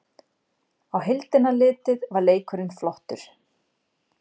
Á heildina litið var leikurinn flottur